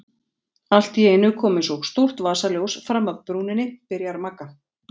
Allt í einu kom eins og stórt vasaljós fram af brúninni, byrjar Magga.